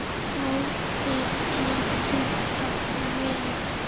Oddi getur átt við